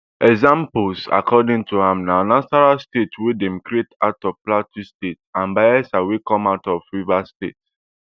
examples according to am na nasarawa state wey dem create out of plateau state and bayelsa wey come out of rivers state